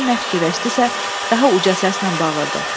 Birdən nə fikirləşdisə, daha uca səslə bağırdı: